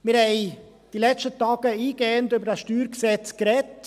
Wir haben in den letzten Tagen eingehend über dieses StG gesprochen.